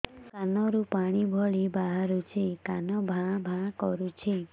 କାନ ରୁ ପାଣି ଭଳି ବାହାରୁଛି କାନ ଭାଁ ଭାଁ କରୁଛି